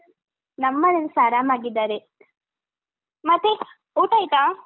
ನಮ್ಮನೇಲಿಸ ಆರಾಮಾಗಿದ್ದಾರೆ, ಮತ್ತೆ ಊಟ ಆಯ್ತಾ?